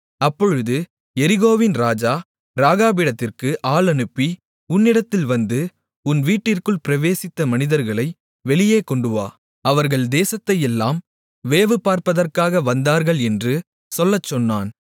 அப்பொழுது எரிகோவின் ராஜா ராகாபிடத்திற்கு ஆள் அனுப்பி உன்னிடத்தில் வந்து உன் வீட்டிற்குள் பிரவேசித்த மனிதர்களை வெளியே கொண்டுவா அவர்கள் தேசத்தையெல்லாம் வேவுபார்ப்பதற்காக வந்தார்கள் என்று சொல்லச்சொன்னான்